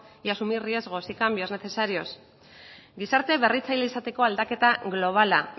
y asumir riesgos y cambios necesarios gizarte berritzaile izateko aldaketa globala